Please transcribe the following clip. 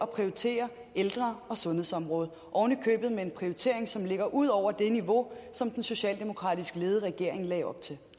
prioritere ældre og sundhedsområdet ovenikøbet med en prioritering som ligger ud over det niveau som den socialdemokratisk ledede regering lagde op til